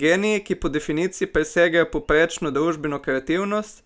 Geniji, ki po definiciji presegajo povprečno družbeno kreativnost,